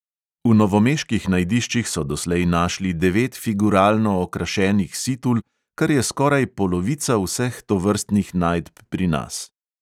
V novomeških najdiščih so doslej našli devet figuralno okrašenih situl, kar je skoraj polovica vseh tovrstnih najdb pri nas.